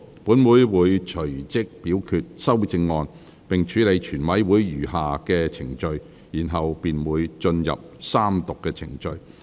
本會會隨即表決修正案並處理全體委員會的餘下程序，然後便會進入三讀程序。